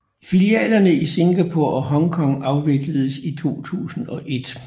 Filialerne i Singapore og Hong Kong afvikledes i 2001